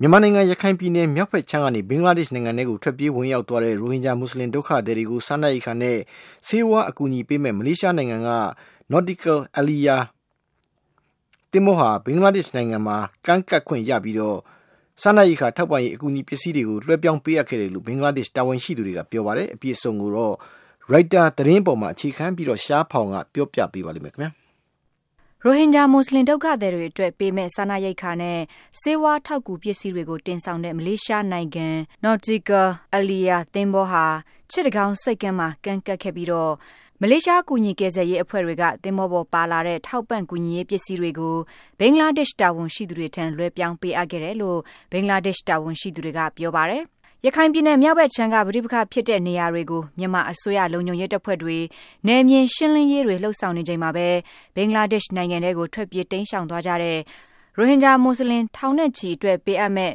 မြန်မာနိုင်ငံ ရခိုင်ပြည်နယ်မြောက်ဘက်ခြမ်းကနေ ဘင်္ဂလားဒေ့ရှ်နိုင်ငံထဲကို ထွက်ပြေး ဝင်ရောက်သွားတဲ့ ရိုဟင်ဂျာမူဆလင် ဒုက္ခသည်တွေကို စားနပ်ရိက္ခာနဲ့ ဆေးဝါး အကူအညီပေးမယ့် မလေးရှားနိုင်ငံက Nautical Aliya သင်္ဘောဟာ ဘင်္ဂလားဒေ့ရှ်နိုင်ငံမှာ ကမ်းကပ်ခွင့်ရပြီး စားနပ်ရိက္ခာ ထောက်ပံ့ကူညီရေး ပစ္စည်းတွေကို လွှဲပြောင်းအပ်ခဲ့တယ်လို့ ဘင်္ဂလားဒေ့ရှ် တာဝန်ရှိသူတွေက ပြောပါတယ်။ အပြည့်အစုံကိုတော့ Reuters သတင်းပေါ်အခြေခံပြီး ရှားဖောင် က တင်ပြထားပါတယ်။ ရိုဟင်ဂျာမူဆလင် ဒုက္ခသည်တွေအတွက် ပေးမယ့် စားနပ်ရိက္ခာနဲ့ ဆေးဝါး ထောက်ကူပစ္စည်းတွေကို တင်ဆောင်တဲ့ မလေးရှားနိုင်ငံ Nautical Aliya သင်္ဘောဟာ စစ်တကောင်းဆိပ်ကမ်းမှာ ကမ်းကပ်ခဲ့ပြီးတော့ မလေးရှားကူညီကယ်ဆယ်ရေးအဖွဲ့တွေက သင်္ဘောပေါ်ပါလာတဲ့ ထောက်ပံ့ကူညီရေး ပစ္စည်းတွေကို ဘင်္ဂလာဒဒေ့ရှ် တာဝန်ရှိသူတွေထံ လွှဲပြောင်းပေးအပ်ခဲ့တယ်လို့ ဘင်္ဂလားဒေ့ရှ် တာဝန်ရှိသူတွေက ပြောပါတယ်။ ရခိုင်ပြည်နယ်မြောက်ဘက်ခြမ်းက ပဋိပက္ခ ဖြစ်တဲ့နေရာတွေကို မြန်မာအစိုးရ လုံခြုံရေးတပ်ဖွဲ့တွေ နယ်မြေရှင်းလင်းရေးတွေ လုပ်ဆောင်နေချိန်မှာပဲ ဘင်္ဂလားဒေ့ရှ်နိုင်ငံထဲကို ထွက်ပြေးတိမ်းရှောင်သွားကြတဲ့ ရိုဟင်ဂျာမူဆလင် ထောင်နဲ့ချီအတွက် ပေးအပ်မယ့်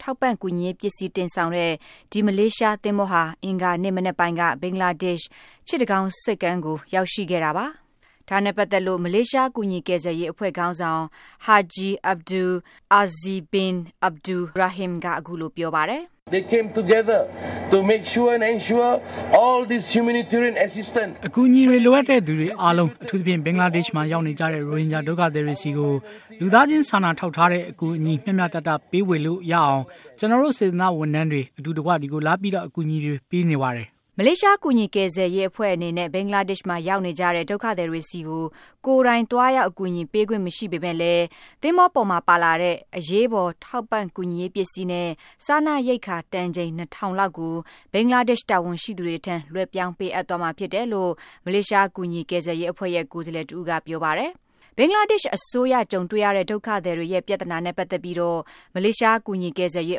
ထောက်ကူပစ္စည်း တင်ဆောင်တဲ့ ဒီ မလေးရှားသင်္ဘောဟာ အင်္ဂါနေ့မနက်ပိုင်းက ဘင်္ဂလားဒေ့ရှ် စစ်တကောင်းဆိပ်ကမ်းကို ရောက်ရှိခဲ့တာပါ။ ဒါနဲ့ပတ်သက်လို့ မလေးရှားကူညီကယ်ဆယ်ရေးအဖွဲ့ ခေါင်းဆောင် Haji Abdul Azeez Bin Abdul Rahim က အခုလို ပြောပါတယ်။ “အကူအညီလိုအပ်တဲ့သူတွေအားလုံး အထူးသဖြင့် ဘင်္ဂလားဒေ့ရှ်မှာ ရောက်နေကြတဲ့ ရိုဟင်ဂျာ ဒုက္ခသည်တွေဆီကို လူသားချင်းစာနာထောက်ထားတဲ့ အကူအညီ မျှမျှတတ ပေးဝေနိုင်အောင် ကျနော်တို့ စေတနာ့ဝန်ထမ်းတွေအတူတကွ ဒီကိုလာပြီး အကူအညီတွေ ပေးရတာဖြစ်ပါတယ်။” မလေးရှား ကူညီကယ်ဆယ်ရေး အဖွဲ့အနေနဲ့ ဘင်္ဂလာဒေ့ရှ်မှာ ရောက်နေကြတဲ့ ဒုက္ခသည်တွေဆီကို ကိုယ်တိုင်သွားရောက် အကူအညီပေးခွင့် မရှိပေမဲ့လည်း သင်္ဘောပေါ်မှာပါလာတဲ့ အရေးပေါ် ထောက်ကူပစ္စည်းနဲ့ စားနပ်ရိက္ခာ တန်ချိန် ၂၀၀၀ လောက်ကို ဘင်္ဂလားဒေ့ရှ် တာဝန်ရှိသူတွေထံ လွှဲပြောင်းပေးအပ်သွားမှာ ဖြစ်တယ်လို့ မလေးရှား ကူညီကယ်ဆယ်ရေးအဖွဲ့ရဲ့ ကိုယ်စားလှယ် တဦးက ပြောပါတယ်။ ဘင်္ဂလားဒေ့ရှ်အစိုးရ ကြုံတွေ့ရတဲ့ ဒုက္ခသည်တွေရဲ့ ပြဿနာနဲ့ ပတ်သက်ပြီးတော့ မလေးရှားကူညီကယ်ဆယ်ရေး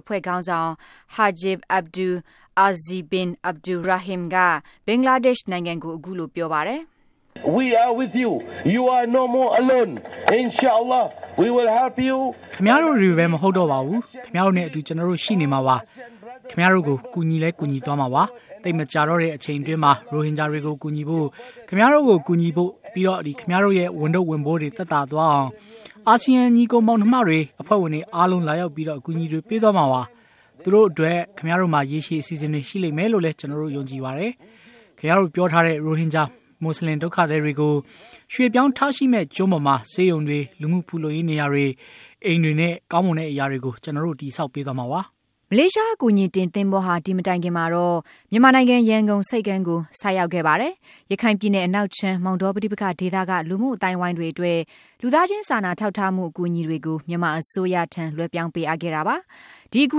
အဖွဲ့ ခေါင်းဆောင် Haji Abdul Azeez Bin Abdul Rahim က ဘင်္ဂလားဒေ့ရှ်နိုင်ငံကို အခုလို ပြောပါတယ်။ “ခင်ဗျားတို့တွေပဲ မဟုတ်တော့ပါဘူး။ ခင်ဗျားတို့နဲ့အတူ ကျနော်တို့ ရှိနေပါတယ်။ ခင်ဗျားတို့ကို ကျနော်တို့ ကူညီသွားမှာပါ။ သိပ်မကြာတော့တဲ့ အချိန်အတွင်း ရိုဟင်ဂျာတွေကို ကူညီဖို့၊ ခင်ဗျားတို့ကိုကူညီဖို့၊ ပြီးတော့ ခင်ဗျားတို့ရဲ့ ဝန်ထုတ်ဝန်ပိုးတွေ သက်သာသွားအောင် အာဆီယံ ညီကိုယ်မောင်နှစ်မတွေ၊ အဖွဲ့ဝင်တွေအားလုံး လာရောက်ပြီး အကူအညီတွေ ပေးသွားမှာပါ။ သူတို့အတွက် ခင်ဗျားတို့မှာ ရေရှည် အစီအစဉ်တွေ ရှိလိမ့်မယ်လို့လည်း ကျနော်ယုံကြည်ပါတယ်။ ခင်ဗျားတို့ ပြောထားတဲ့ (ရိုဟင်ဂျာ မူဆလင် ဒုက္ခသည်) တွေကို ရွှေ့ပြောင်းထားရှိမယ့် ကျွန်းပေါ်မှာ ဆေးရုံတွေ၊ လူမှုဖူလုံရေးနေရာတွေ၊ အိမ်တွေနဲ့ ကောင်းမွန်တဲ့အရာတွေကိုကျနော်တို့ တည်ဆောက်ပေးသွားမှာပါ။” မလေးရှားအကူအညီတင်သင်္ဘောဟာ ဒီမတိုင်ခင်ကတော့ မြန်မာနိုင်ငံ ရန်ကုန်ဆိပ်ကမ်းကို ဆိုက်ရောက်ခဲ့ပါတယ်။ ရခိုင်ပြည်နယ်အနောက်ခြမ်း မောင်တောပဋိပက္ခဒေသက လူမှုအသိုင်းအဝိုင်းတွေအတွက် လူသားချင်းစာနာထောက်ထားမှု အကူအညီတွေကို မြန်မာအစိုးရကို လွဲှပြောင်းပေးခဲ့တာပါ။ ဒီ အကူ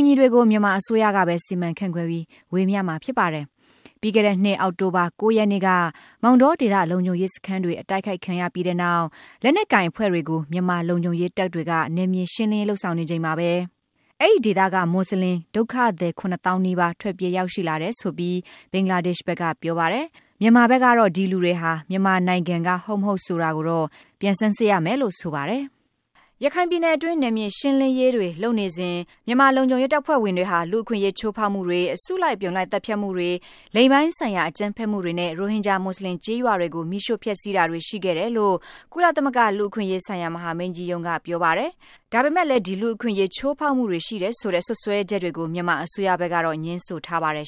အညီတွေကို မြန်မာအစိုးရကပဲ စီမံခန့်ခွဲပြီး ဝေမျှမှာ ဖြစ်ပါတယ်။ ပြီးခဲ့တဲ့နှစ် အောက်တိုဘာ ၉ ရက်နေ့က မောင်တောဒေသ လုံခြုံရေးစခန်းတွေ အတိုက်အခိုက်ခံရပြီးနောက်၊ လက်နက်ကိုင်အဖွဲ့တွေကို မြန်မာလုံခြုံရေးတပ်တွေက နယ်မြေရှင်းလင်း လုပ်ဆောင်နေချိန်မှာ အဲဒီဒေသက မူဆလင်ဒုက္ခသည် ၇ သောင်းနီးပါး ထွက်ပြေး ရောက်ရှိလာတယ်ဆိုပြီး ဘင်္ဂလားဒေ့်ရ်ှဘက်က ပြောပါတယ်။ မြန်မာဘက်ကတော့ ဒီလူတွေဟာ မြန်မာနိုင်ငံက ဟုတ် မဟုတ် ဆိုတာက ပြန်ဆန်းစစ်ရမယ်လို့ ဆိုပါတယ်။ ရခိုင်ပြည်နယ်အတွင်း နယ်မြေရှင်းလင်းရေးတွေ လုပ်နေစဉ် မြန်မာလုံခြုံရေးတပ်ဖွဲ့ဝင်တွေဟာ လူ့အခွင့်ရေးချိုးဖောက်မှုတွေ၊ အစုလိုက်အပြုံလိုက် သတ်ဖြတ်မှုတွေ၊ လိင်ပိုင်းဆိုင်ရာ အကြမ်းဖက်မှုတွေနဲ့ ရိုဟင်ဂျာမူဆလင် ကျေးရွာတွေကို မီးရှို့ဖျက်ဆီးတာတွေ ရှိခဲ့တယ်လို့ ကုလသမဂ္ဂ လူ့အခွင့်အရေးဆိုင်ရာ မဟာမင်းကြီးရုံးက ပြောပါတယ်။ ဒါပေမဲ့လည်း ဒီလူ့အခွင့်အရေး ချိုးဖောက်မှုတွေ ရှိတယ်ဆိုတဲ့ စွပ်စွဲချက်တွေကို မြန်မာအစိုးရကဘက်ကတော့ ငြင်းဆိုထားပါတယ်